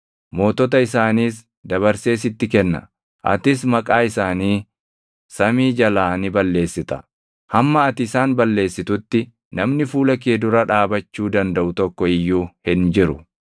Mootota isaaniis dabarsee sitti kenna; atis maqaa isaanii samii jalaa ni balleessita. Hamma ati isaan balleessitutti namni fuula kee dura dhaabachuu dandaʼu tokko iyyuu hin jiru.